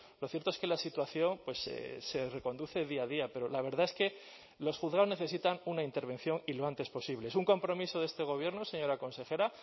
lo cierto es que la situación se reconduce día a día pero la verdad es que los juzgados necesitan una intervención y lo antes posible es un compromiso de este gobierno señora consejera